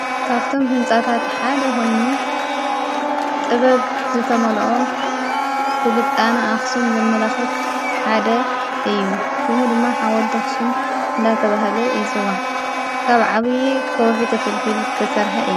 ካብቶም ሕንፃታት ሓደ ኾይኑ ጥበብ ዝተመልኦ ስልጣነ ኣኽሱም ዘመላኽት ሓደ እዩ ሽሙ ድማ ሓወልቲ ኣኽሱም እንዳተበሃለ ይጽዋዕ ካብ ዓብዪ ከውሒ ተፈልፊሉ ዝተሰርሐ እዩ።